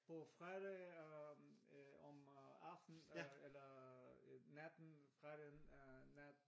På fredag øh om øh aftenen eller øh natten fredag øh nat